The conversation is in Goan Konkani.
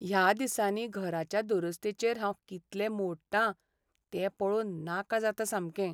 ह्या दिसांनी घराच्या दुरुस्तेचेर हांव कितले मो़डटां तें पळोवन नाका जाता सामकें.